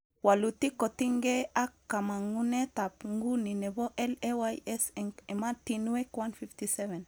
Walutik kotingee ak kamangunetab nguni nebo LAYs eng ematinwek 157